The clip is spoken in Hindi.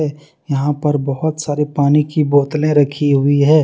यहां पर बहुत सारे पानी की बोतलें रखी हुई है।